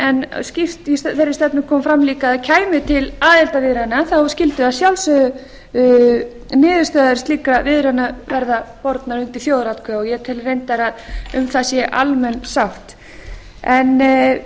en skýrt í þeirri stefnu kom fram líka að kæmi til aðildarviðræðna skyldu að sjálfsögðu niðurstöður slíkra viðræðna verða bornar undir þjóðaratkvæði og ég tel reyndar að um það sé almenn sátt það er